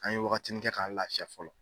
An ye waati wagatinin kɛ k'an lafiya fɔlɔ